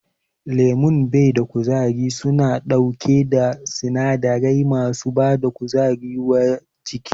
Lemon bada kuzari suna ɗauke da sinadarai masu bada kuzari wa jiki